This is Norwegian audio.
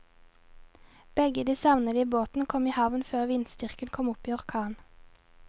Begge de savnede båtene kom i havn før vindstyrken kom opp i orkan.